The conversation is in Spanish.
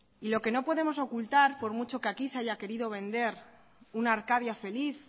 y lo que no podemos ocultar por mucho que aquí se haya querido vender una arcadia feliz